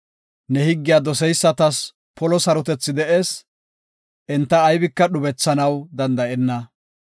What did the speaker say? Ne higgiya doseysatas polo sarotethi de7ees; enta aybika dhubethanaw danda7enna.